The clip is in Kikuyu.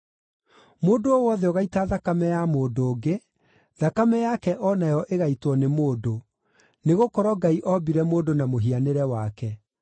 “Mũndũ o wothe ũgaita thakame ya mũndũ ũngĩ, thakame yake o nayo ĩgaitwo nĩ mũndũ; nĩgũkorwo Ngai ombire mũndũ na mũhianĩre wake.